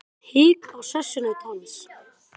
Það kom hik á sessunaut hans.